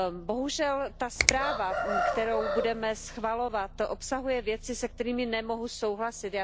Bohužel ta zpráva, kterou budeme schvalovat, obsahuje věci, se kterými nemohu souhlasit.